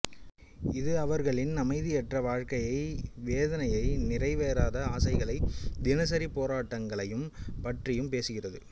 இது அவர்களின் அமைதியற்ற வாழ்க்கையை வேதனையை நிறைவேறாத ஆசைகளை தினசரி போராட்டங்களையும் பற்றியும் பேசுகிறது